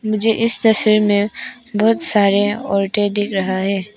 मुझे इस तस्वीर में बहोत सारे औरतें दिख रहा है।